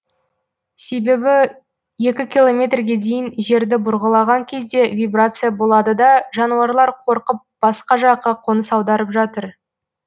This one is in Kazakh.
себебі екі километрге дейін жерді бұрғылаған кезде вибрация болады да жануарлар қорқып басқа жаққа қоныс аударып жатыр